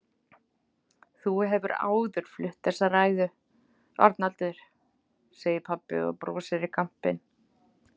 Þú hefur áður flutt þessa ræðu, Arnaldur, segir pabbi og brosir í kampinn.